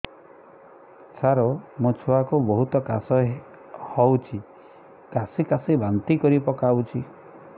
ସାର ମୋ ଛୁଆ କୁ ବହୁତ କାଶ ହଉଛି କାସି କାସି ବାନ୍ତି କରି ପକାଉଛି